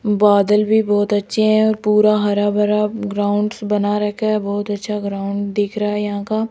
बादल भी बहोत अच्छे है और पूरा हरा भरा ग्राउंड्स बना रखा है बहुत अच्छा ग्राउंड दिख रहा है यहां का --